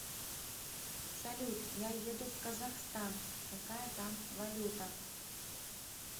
салют я еду в казахстан какая там валюта